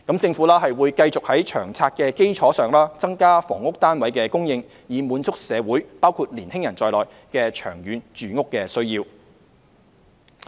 政府會繼續在《長策》的基礎上，增加房屋單位的供應，以滿足社會的長遠住屋需要。